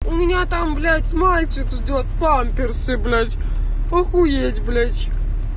у меня там блять мальчик ждёт памперсы блять охуеть блять